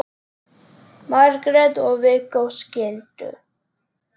Margrét og Viggó skildu.